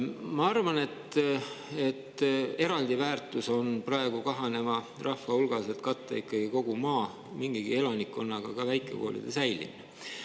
Ma arvan, et eraldi väärtus on praegu kahaneva katta kogu maa mingigi elanikkonnaga ka väikekoolide säilimine.